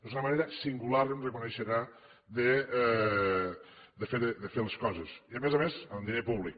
és una manera singular em reconeixerà de fer les coses i a més a més amb diner públic